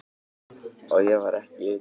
Og ég var ekki einn um það.